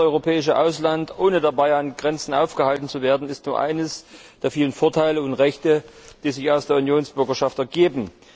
Reisen ins europäische Ausland, ohne dabei an Grenzen aufgehalten zu werden, ist nur einer der vielen Vorteile und Rechte, die sich aus der Unionsbürgerschaft ergeben.